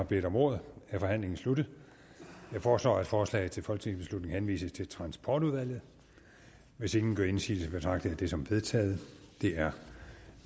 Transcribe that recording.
har bedt om ordet er forhandlingen sluttet jeg foreslår at forslaget til folketingsbeslutning henvises til transportudvalget hvis ingen gør indsigelse betragter jeg det som vedtaget det er